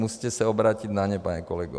Musíte se obrátit na ně, pane kolego.